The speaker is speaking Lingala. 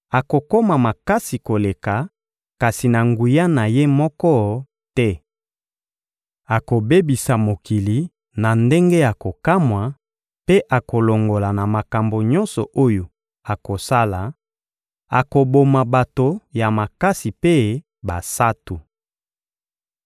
akokoma makasi koleka, kasi na nguya na ye moko te. Akobebisa mokili na ndenge ya kokamwa mpe akolonga na makambo nyonso oyo akosala; akoboma bato ya makasi mpe basantu.